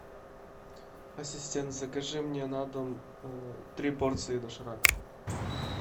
ассистент закажи мне на дом три порции доширака